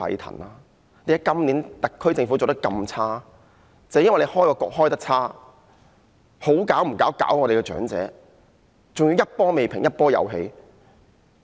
正正因為政府開局做得差，甚麼不好做，竟然搞長者，還要一波未平一波又起。